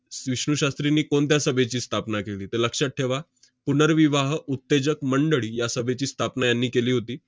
'विष्णू शास्त्रींनी कोणत्या सभेची स्थापना केली? ' तर लक्षात ठेवा, 'पुनर्विवाह उत्तेजक मंडळी' या सभेची स्थापना यांनी केली होती.